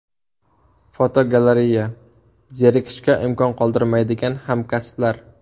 Fotogalereya: Zerikishga imkon qoldirmaydigan hamkasblar.